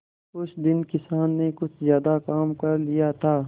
उस दिन किसान ने कुछ ज्यादा काम कर लिया था